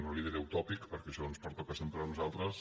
no li diré utòpic perquè això ens pertoca sempre a nosaltres